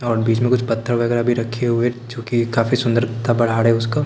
और बीच में कुछ पत्थर वगैरह भी रखे हुए जो कि काफी सुंदर है उसको--